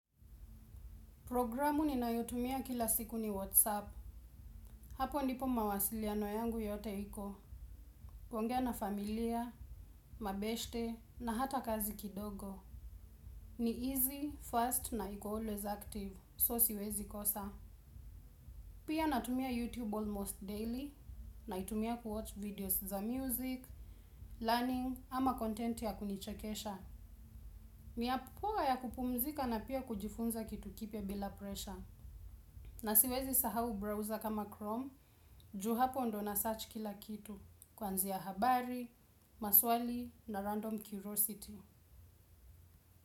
Programu ninayotumia kila siku ni Whatsapp. Hapo ndipo mawasiliano yangu yote iko. Kuongea na familia, mabeste, na hata kazi kidogo. Ni easy, fast, na iko always active. So siwezi kosa. Pia natumia YouTube almost daily. Naitumia kuwatch videos za music, learning, ama content ya kunichekesha. Ni app poa ya kupumzika na pia kujifunza kitu kipyabila pressure. Na siwezi sahau browser kama Chrome, juu hapo ndyo nssearch kila kitu, kwanzia habari, maswali na random curiosity.